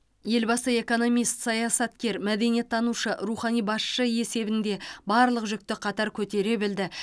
елбасы экономист саясаткер мәдениеттанушы рухани басшы есебінде барлық жүкті қатар көтере білді